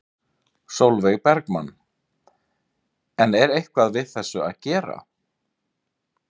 Sólveig Bergmann: En er eitthvað við þessu að gera?